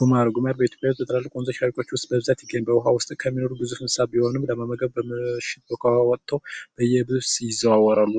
ጉማሬ በኢትዮጵያ ወንዞች ውስጥ በስፋት ይገኛል ጉማሬ በውሃ ውስጥ የሚኖር ግዙፍ እንስሳት ቢሆንም ለመመገብ ወጥቶ በየብስ ይዘዋወራል